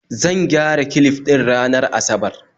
Zan gyara clif din ranar asabar